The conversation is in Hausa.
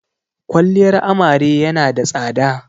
Kwaliyar amare ya na da tsada